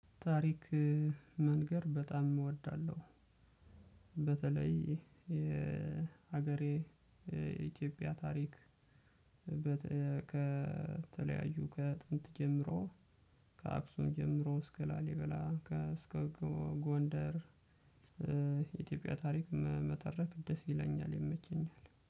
ታሪክ መንገር በጣም እወዳለሁ። በተለይ የሀገሬ የኢትዮጵያ ታሪክ በተ ከተለያዩ ከጥንት ጀምሮ ከአክሱም ጀምሮ እስከ ላሊበላ ከ እስከ ጎንደር። የኢትዮጵያ ታሪክ መተረክ ደስ ይለኛል ይመቸኛል